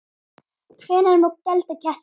Hvenær má gelda ketti?